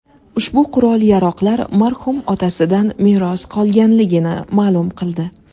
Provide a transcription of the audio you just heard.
ushbu qurol-yaroqlar marhum otasidan meros qolganligini ma’lum qildi.